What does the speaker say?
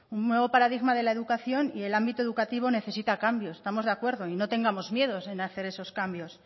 un paradigma de la educación y el ámbito educativo necesita cambios estamos de acuerdo y no tengamos miedos en hacer esos cambios